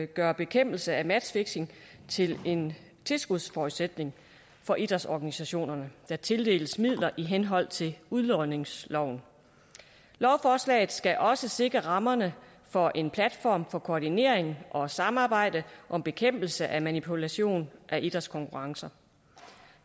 gøre bekæmpelse af matchfixing til en tilskudsforudsætning for idrætsorganisationer der tildeles midler i henhold til udlodningsloven lovforslaget skal også sikre rammerne for en platform for koordinering og samarbejde om bekæmpelse af manipulation af idrætskonkurrencer